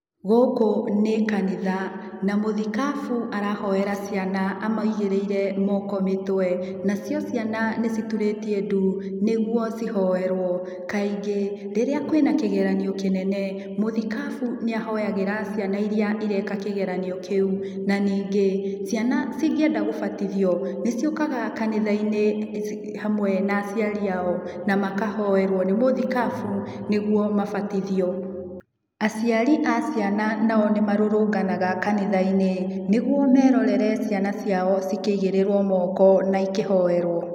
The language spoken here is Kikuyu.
Gũkũ nĩ kanitha, na mũthikabu arahoera ciana amaigĩrĩire moko mĩtwe, nacio ciana nĩ citurĩtie ndu nĩguo cihoerwo. Kaingĩ rĩrĩa kwĩna kĩgeranio kĩnene mũthikabu nĩahonyagĩra ciana irĩa ireka kĩgeranio kĩu na ningĩ ciana cingĩenda gũbatithio nĩ ciũkaga kanitha-inĩ hamwe na aciari a o na makahoerwo nĩ mũthikabu nĩguo mabatithio. Aciari a ciana na o nĩ marũrũnganaga kanitha-inĩ nĩguo merorere ciana ciao cikĩigĩrĩrwo moko na ikĩhoerwo.